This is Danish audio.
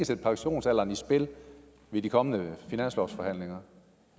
sætte pensionsalderen i spil ved de kommende finanslovforhandlinger